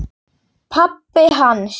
Pabbi hans?